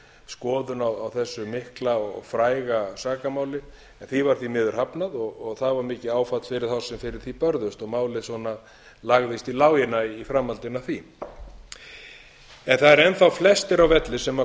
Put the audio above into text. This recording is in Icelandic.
endurskoðun á þessu mikla og fræga sakamáli en því var því miður hafnað og það var mikið áfall fyrir þá sem fyrir því börðust og málið svona lagðist í lágina í framhaldinu af því það eru enn þá flestir á velli sem